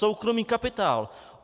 Soukromý kapitál!